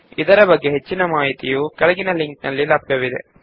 ಇದರ ಬಗ್ಗೆ ಹೆಚ್ಚಿನ ಮಾಹಿತಿಯು ಈ ಕೆಳಗಿನ ಲಿಂಕ್ ನಲ್ಲಿ ಲಭ್ಯವಿದೆ